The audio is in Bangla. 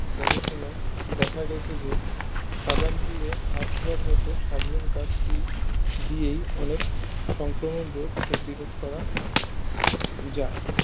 গবেষণা দেখা গেছে যে সাবানদিয়ে হাত ধোয়ার মতো সাধারণ কাজটি দিয়েই অনেক সংক্রমণ রোগ প্রতিরোধ করা যায়